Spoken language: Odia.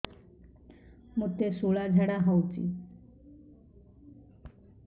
ମୋତେ ଶୂଳା ଝାଡ଼ା ହଉଚି